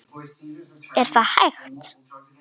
Er þetta hægt?